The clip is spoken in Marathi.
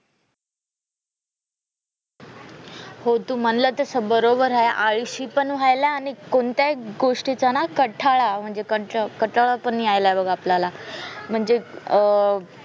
हो तू म्हणाला तसे बरोबर आहे आळशी पण होयला आणि कोणत्याही गोष्टीचा ना कंटाळा म्हणजे कटाळा पण यायला पण बग आपल्याला म्हणजे अं